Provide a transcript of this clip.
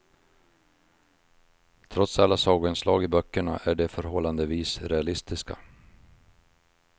Trots alla sagoinslag i böckerna är de förhållandevis realistiska.